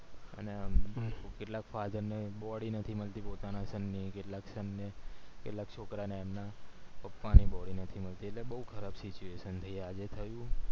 અને કેટલા father ને body નથી મળતી પોતાના son ની કેટલાક ને કેટલાક છોકરાને એમના પપ્પા ની body નથી મળતી એટલે બૌ ખરાબ situation થય આજે થયું